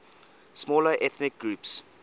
smaller ethnic groups